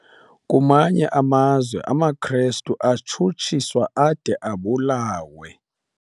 Kwamanye amazwe amaKrestu astshutshiswa ade abulawe.